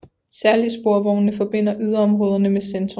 Særlig sporvognene forbinder yderområderne med centrum